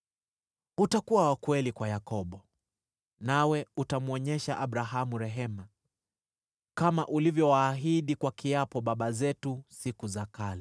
Utakuwa wa kweli kwa Yakobo, nawe utamwonyesha Abrahamu rehema, kama ulivyowaahidi kwa kiapo baba zetu siku za kale.